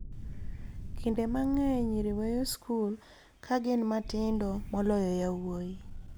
Kinde mang'eny nyiri weyo skul ka gin matindo moloyo yawuowi